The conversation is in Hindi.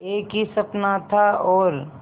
एक ही सपना था और